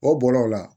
O bɔla o la